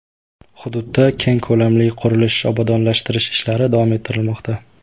Hududda keng ko‘lamli qurilish-obodonlashtirish ishlari davom ettirilmoqda.